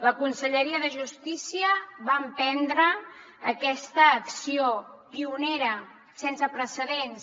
la conselleria de justícia va emprendre aquesta acció pionera sense precedents